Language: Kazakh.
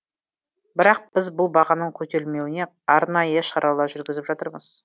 бірақ біз бұл бағаның көтерілмеуіне арнайы шаралар жүргізіп жатырмыз